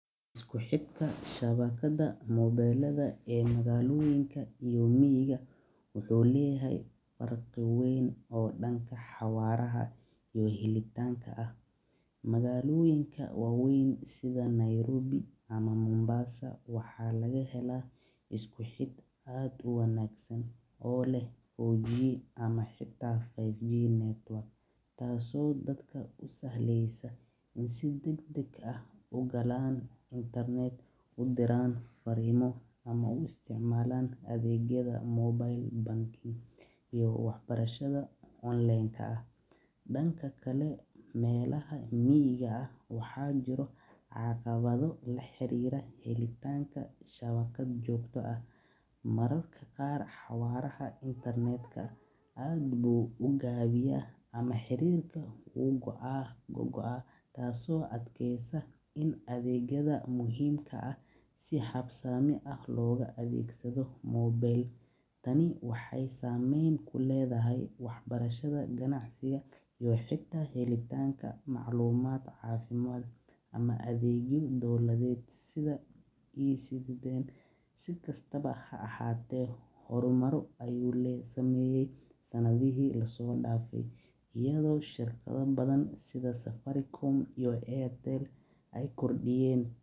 Isku xirka shabajada wuxuu leyahay farqi weyn danka xawaaraha, magaaloyinka waxaa laga lehaa isku xid wanagsan, iyo waxbarashada fican, miiga waxaa jiro caqabo, xawaraha aad ayuu u gaban yahay, taas oo sababa in adeegyada si daciif ah loo isticmaala, si kastaba ha ahaate hor maro ayuu sameeye sanadaha lasoo daafe.